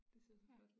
Det ser så flot ud